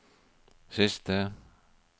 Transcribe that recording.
siste